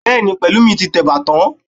Bẹ́ẹ̀ni, Pẹ̀lúmi ti tẹ ẹ̀bà tán